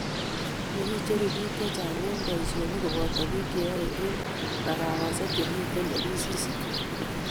kikicheru biik che chang' eng' boisionik koboto biik che yoe eng' mikawasiek ak chemito ofisisiek